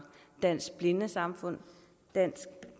dansk blindesamfund